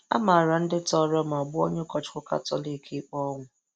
A mara ndị tọọrọ ma gbuo onye ụkọchukwu Katọlik ikpe ọnwụ.